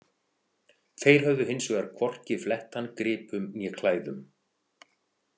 Þeir höfðu hins vegar hvorki flett hann gripum né klæðum.